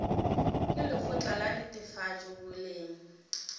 ke lekgotla la netefatšo boleng